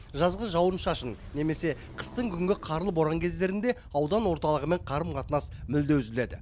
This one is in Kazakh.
жазғы жауын шашын немесе қыстың күнгі қарлы боран кездерінде аудан орталығымен қарым қатынас мүлде үзіледі